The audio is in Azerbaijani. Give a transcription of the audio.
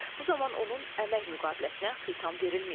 Bu zaman onun əmək müqaviləsinə xitam verilməyəcək.